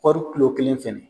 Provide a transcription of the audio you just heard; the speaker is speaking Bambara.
kɔɔri kilo kelen fana